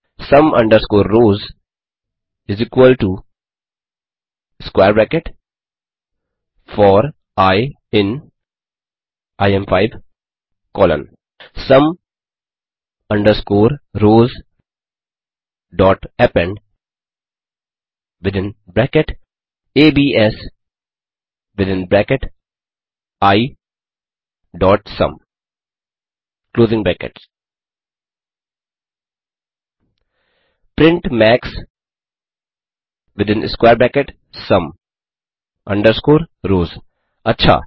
sum underscore rows square bracket four i in इम5 colon sum underscore rowsअपेंड within bracket ABS within bracket isum print max within square bracket sum underscore rows अच्छा